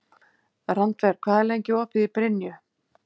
Randver, hvað er lengi opið í Brynju?